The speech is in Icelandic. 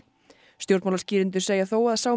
stjórnmálaskýrendur segja þó að sá